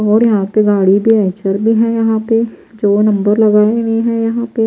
और यहां पे गाड़ी भी पंचर भी है यहां पे जो नंबर लगाए हुए हैं यहां पे--